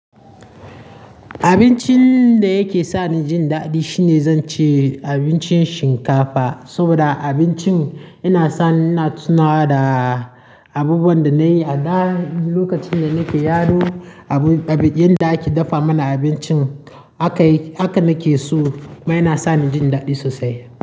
Abincin da yake sa ni jin daɗi shine zan ce abincin shinkafa. Saboda abincin yana sa ni na tunawa da abubuwan da na yi a da. Lokacin da nake yaro, abin da ake dafa mana abincin haka nake so kuma yana sa ni jin daɗi sosai.